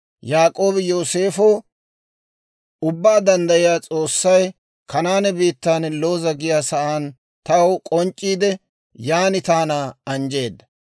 Yaak'oobi Yooseefo, «Ubbaa Danddayiyaa S'oossay Kanaane biittaan Looza giyaa sa'aan taw k'onc'c'iide, yan taana anjjeedda.